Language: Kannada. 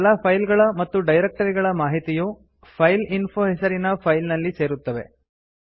ಈಗ ಎಲ್ಲಾ ಫೈಲ್ ಗಳ ಮತ್ತು ಡೈರಕ್ಟರಿ ಗಳ ಮಾಹಿತಿಯು ಫೈಲ್ಇನ್ಫೋ ಹೆಸರಿನ ಫೈಲ್ ನಲ್ಲಿ ಸೇರುತ್ತವೆ